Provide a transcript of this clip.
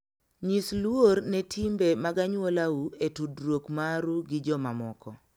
Nyis luor ne timbe mag anyuolau e tudruok maru gi jomamoko.